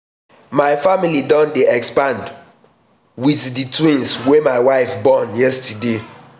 my family don dey expand wit dey expand wit dese twins wey my wife born yesterday.